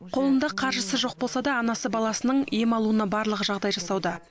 қолында қаржысы жоқ болса да анасы баласының ем алуына барлық жағдай жасауда